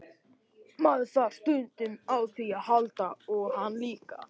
Maður þarf stundum á því að halda og hann líka.